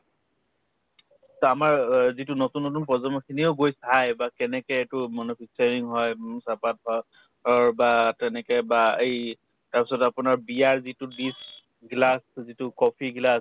to আমাৰ অ যিটো নতুন নতুন প্ৰজন্ম বা কেনেকে এইটো হয় উম চাহপাত বা অ বা তেনেকে বা এই তাৰপিছত আপোনাৰ বিয়াৰ যিটো dish গিলাচটো যিটো coffee গিলাচ